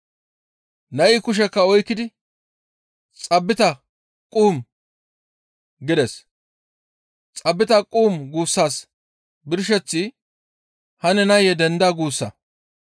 Nay kushekka oykkidi, «Xaabita kum!» gides. «Xaabita kum!» guussas birsheththi, «Hanne nayee denda» guussa.